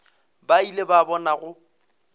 ba ile ba bona go